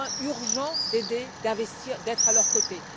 urgent d'aider, d'investir, d'être à leurs côtés.